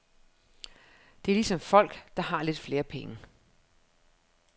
Det er ligesom folk, der har lidt flere penge.